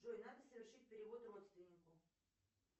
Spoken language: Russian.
джой надо совершить перевод родственнику